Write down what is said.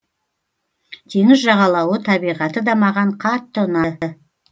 теңіз жағалауы табиғаты да маған қатты ұнады